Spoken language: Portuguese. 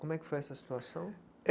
Como é que foi essa situação?